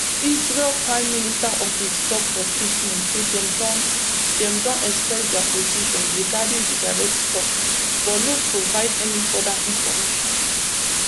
israel prime minister office tok for statement say dem don dem don express dia position regarding di direct tok but no provide any further information